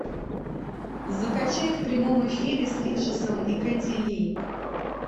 закачай в прямом эфире с риджесом и кэти ли